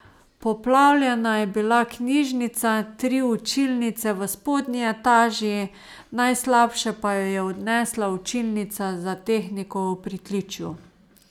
Poplavljena je bila knjižnica, tri učilnice v spodnji etaži, najslabše pa jo je odnesla učilnica za tehniko v pritličju.